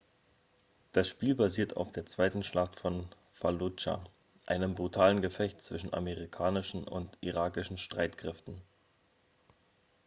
das spiel basiert auf der zweiten schlacht von falludscha einem brutalen gefecht zwischen amerikanischen und irakischen streitkräften